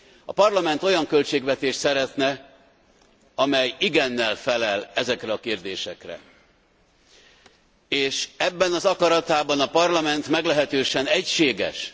A Parlament olyan költségvetést szeretne, amely igennel felel ezekre a kérdésekre, és ebben az akaratában a Parlament meglehetősen egységes.